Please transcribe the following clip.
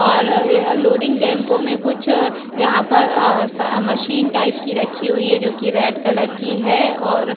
और ये loading tempo में कुछ यहां पर मशीन टाइप की रखी हुई है जो कि रेड कलर की है और --